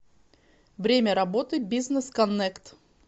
время работы бизнес коннект